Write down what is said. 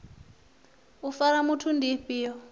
u fara muthu ndi ifhio